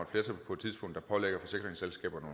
flertal på et tidspunkt der pålægger forsikringsselskaberne